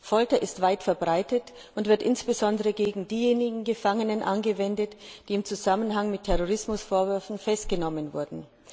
Folter ist weit verbreitet und wird insbesondere gegen diejenigen Gefangenen angewendet, die im Zusammenhang mit Terrorismusvorwürfen festgenommen wurden.